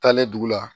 Taalen dugu la